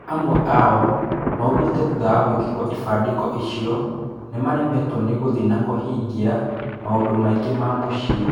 Amwe ao maugĩte thutha wa gwĩkĩrwo ibandĩko icio nĩmaremetwo nĩgũthiĩ na kũhingia maũndũmaingĩ ma mũciĩ.